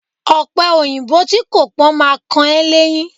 Ọ̀pẹòyìnbó tí kò pọ́n ma kan ẹ́ léyín